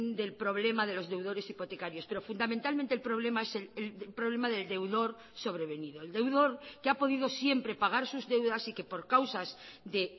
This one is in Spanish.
del problema de los deudores hipotecarios pero fundamentalmente el problema es el problema del deudor sobrevenido el deudor que ha podido siempre pagar sus deudas y que por causas de